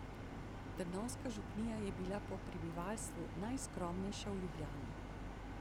Trnovska župnija je bila po prebivalstvu najskromnejša v Ljubljani.